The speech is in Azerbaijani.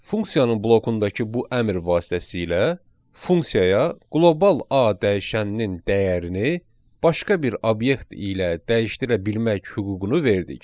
Funksiyanın blokundakı bu əmr vasitəsilə funksiyaya qlobal A dəyişəninin dəyərini başqa bir obyekt ilə dəyişdirə bilmək hüququnu verdik.